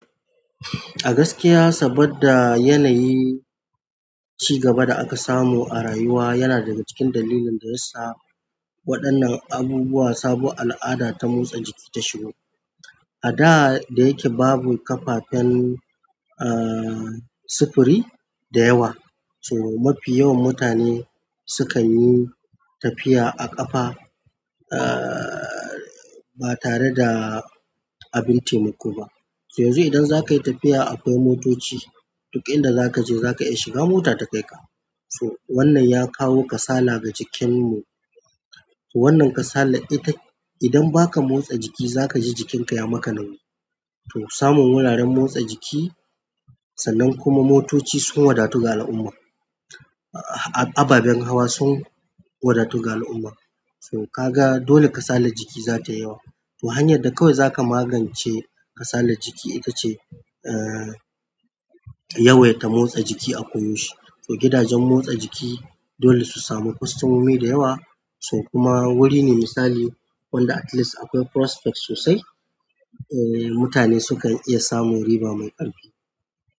A gaskiya, saboda yanayi ci gaba da aka samu a rayuwa yana daga cikin dalilin da yasa waɗannan abubuwa sabo al'ada ta motsa jiki ta shigo. A da' dayake babu kafafen sufuri da yawa mafi yawan mutane sukan yi tafiya a ƙafa ba tare da abin taimako ba so yanzu idan za ka yi tafiya akwai motoci, duk inda za ka je za ka iya shiga mota ta kai ka. Tor wannan ya kawo kasala ga jikinmu. Wannan kasalar ita idan ba ka motsa jiki za ka ji jikinka ya maka nauyi. To samun wuraren motsa jiki sannan kuma motoci sun wadatu ga al'umma. Ababen hawa sun wadatu ga al'umma. So ka ga dole kasalar jiki za ta yi yawa. To hanyar da kawai za ka magance kasalar jiki ita ce, aaah, yawaita motsa jiki a koyaushe. So gidajen motsa jiki dole su samu kwastomomi da yawa, so kuma wuri ne misali wanda at least akwai prospect sosai. Mutane sukan iya samun riba mai ƙarfi.